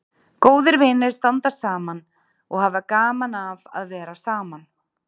Góðir vinir standa saman og hafa gaman af að vera saman.